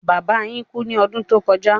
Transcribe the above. Bàbà yín kú ní ọdún tó kọja